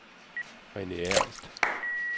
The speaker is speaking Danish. Rene Ernst